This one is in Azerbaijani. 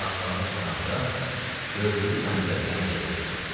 Astanağa çatanda gördüyü mənzərədən heyrətə gəldi.